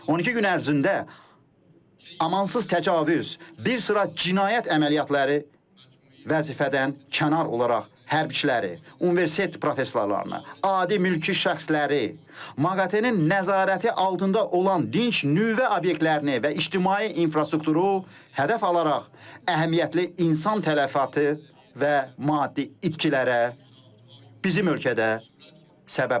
12 gün ərzində amansız təcavüz, bir sıra cinayət əməliyyatları, vəzifədən kənar olaraq hərbiçiləri, universitet professorlarını, adi mülki şəxsləri, maqatenin nəzarəti altında olan dinc nüvə obyektlərini və ictimai infrastrukturu hədəf alaraq əhəmiyyətli insan tələfatı və maddi itkilərə bizim ölkədə səbəb oldu.